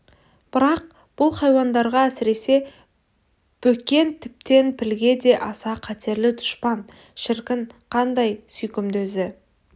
бірақ бұл хайуандарға әсіресе бөкен тіптен пілге де аса қатерлі дұшпан шіркін қандай сүйкімді өзі